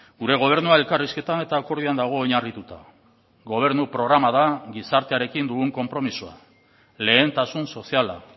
gure gobernua elkarrizketan eta akordioan dago oinarrituta gobernu programa da gizartearekin dugun konpromisoa lehentasun soziala